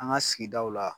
An ka sigidaw la